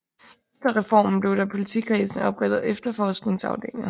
Efter reformen blev der i politikredsene oprettet efterforskningsafdelinger